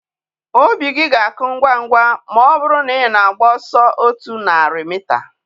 Obi gị ga-akụ ngwa ngwa ma ọ bụrụ na ị na-agba ọsọ otu narị mita.